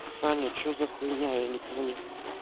саня что за хуйня я не понял